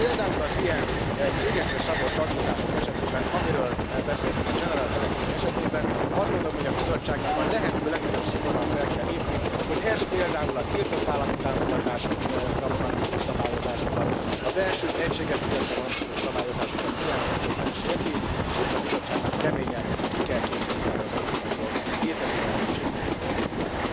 Például az ilyen cégekre szabott adózások esetében, amiről beszéltem a General Electric esetében, azt gondolom, hogy a Bizottságnak a lehető legnagyobb szigorral fel kell lépni, megvizsgálni, hogy ez például a tiltott állami támogatásokra vonatkozó szabályozásokat, a belső egységes piacra vonatkozó szabályozásokat milyen mértékben sérti, és ebben az esetben a Bizottságnak keményen ki kell kényszeríteni az európai jog, a létező európai jog érvényesítését.